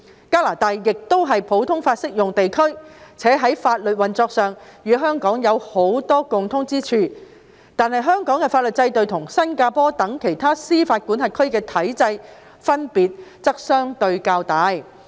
加拿大亦是普通法適用地區，且在法律運作上與香港有許多共通之處，但香港的法律制度與新加坡等其他司法管轄區的體制分別則相對較大。